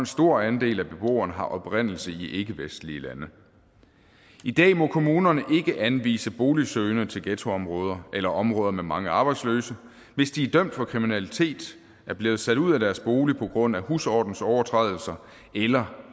stor andel af beboerne har oprindelse i ikkevestlige lande i dag må kommunerne ikke anvise boligsøgende til ghettoområder eller områder med mange arbejdsløse hvis de er dømt for kriminalitet er blevet sat ud af deres bolig på grund af husordensovertrædelser eller